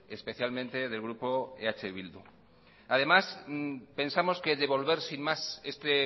especialmente del grupo eh bildu además pensamos que devolver sin más este